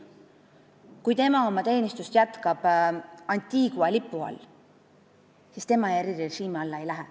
Kui ta jätkab oma teenistust Antigua lipu all, siis ta erirežiimi alla ei lähe.